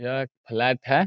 यह एक फ्लैट है।